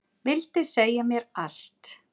Vildi segja mér allt.